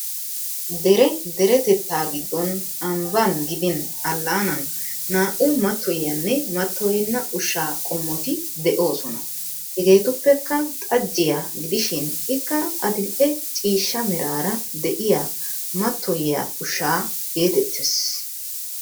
Dere deretettaa giddon ambban gidin allaanan naa'u mattoyiyaanne mattoyenna ushshaa qommoti de'oosona. Hegeetuppekka xajjiya gidishin ikka adil'e ciishsha meraara de'iyaa matoyiyaa ushsha geetettes.